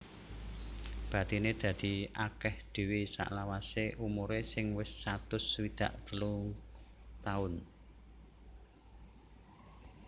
Bathiné dadi akèh dhéwé salawasé umuré sing wis satus swidak telu taun